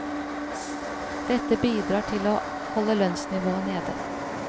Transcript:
Dette bidrar til å holde lønnsnivået nede.